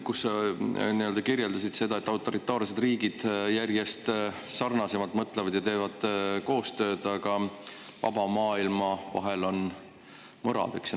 Sa kirjeldasid seda, et autoritaarsed riigid mõtlevad järjest sarnasemalt ja teevad koostööd, aga vaba maailma vahel on mõrad.